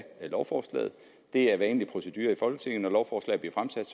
lovforslaget det er vanlig procedure i folketinget lovforslag bliver fremsat